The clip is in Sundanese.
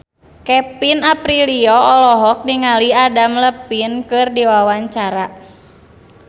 Kevin Aprilio olohok ningali Adam Levine keur diwawancara